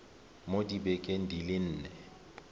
mo dibekeng di le nne